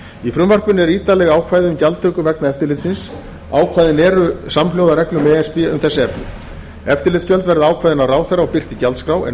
í frumvarpinu eru ítarleg ákvæði um gjaldtöku vegna eftirlitsins ákvæðin eru samhljóða reglum e s b um þessi efni eftirlitsgjöld verða ákveðin af ráðherra og birt í gjaldskrá en